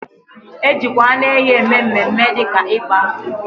Ejikwa anu ehi eme mme mme di ka igba nkwu